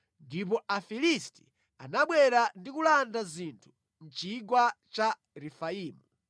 Ndipo Afilisti anabwera ndi kulanda zinthu mʼChigwa cha Refaimu.